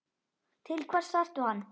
Til hvers þarftu hann?